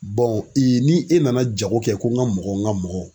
ni e nana jago kɛ ko n ka mɔgɔw n ka mɔgɔw.